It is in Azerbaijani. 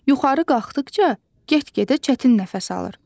Yuxarı qalxdıqca get-gedə çətin nəfəs alır.